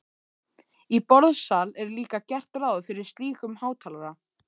Í borðsal er líka gert ráð fyrir slíkum hátalara.